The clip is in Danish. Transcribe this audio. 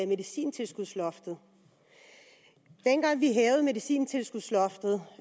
medicintilskudsloftet dengang vi hævede medicintilskudsloftet